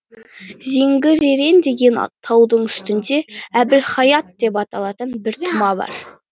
зеңгіререн деген таудың үстінде әбілхаят деп аталатын бір тұма бар